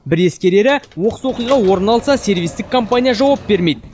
бір ескерері оқыс оқиға орын алса сервистік компания жауап бермейді